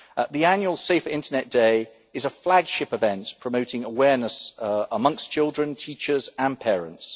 The annual Safer Internet Day is a flagship event promoting awareness amongst children, teachers and parents.